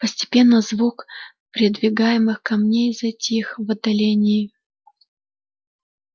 постепенно звук передвигаемых камней затих в отдалении